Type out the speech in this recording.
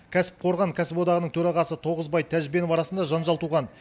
кәсіпқорған кәсіподағының төрағасы тоғызбай тәжбенов арасында жанжал туған